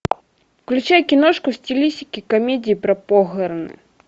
включай киношку в стилистике комедии про похороны